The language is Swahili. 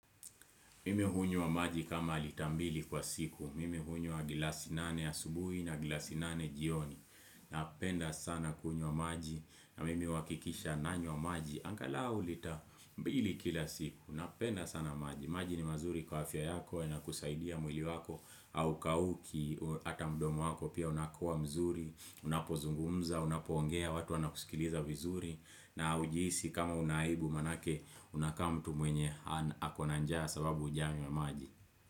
Mime hunywa maji kama lita mbili kwa siku. Mime hunywa gilasi nane ya subuhi na gilasi nane jioni. Napenda sana kunywa maji. Na mime kikisha nanywa maji. Angalau lita mbili kila siku. Napenda sana maji. Maji ni mazuri kwa afya yako. Huwa kusaidia mwili wako haukauki ata mdomu wako pia unakuwa mzuri unapozungumza unapongea watu wana kusikiliza vizuri na hujiisi kama unaibu maanake unakaa mtu mwenye akona njaa sababu ujame maji.